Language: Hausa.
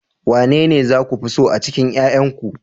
Wanene za ku fi so a cikin 'ƴa'ƴanku